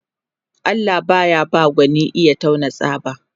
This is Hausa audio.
Allah baya ba gwani iya taunan tsaba